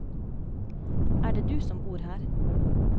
Er det du som bor her?